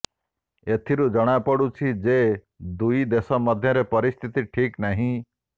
ଏଥିରୁ ଜଣାପଡୁଛି ଯେ ଦୁଇ ଦେଶ ମଧ୍ୟରେ ପରିସ୍ଥିତି ଠିକ୍ ନାହିଁ